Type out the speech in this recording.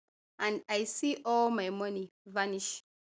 and i see all my money vanish